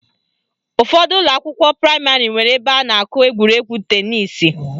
Ụfọdụ ụlọakwụkwọ praịmarị nwere ebe a na-akụ egwuregwu tenisi